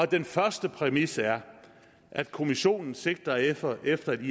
den første præmis er at kommissionen sigter efter efter et